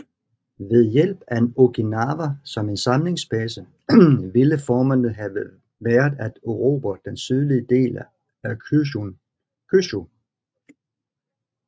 Ved hjælp af Okinawa som en samlingsbase ville formålet have været at erobre den sydlige del af Kyūshū